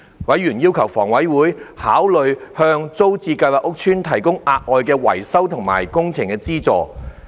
委員要求房委會考慮向租置計劃屋邨提供額外的維修及工程資助。